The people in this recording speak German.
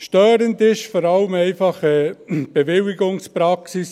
Störend ist vor allem einfach die Bewilligungspraxis.